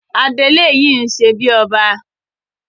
Adelé yìí ṣebí ọba.